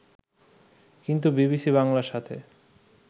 কিন্তু বিবিসি বাংলার সাথে